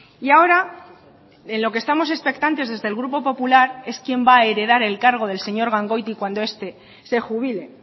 y ahora en lo que estamos expectantes desde el grupo popular es quien va a heredar el cargo del señor gangoiti cuando este se jubile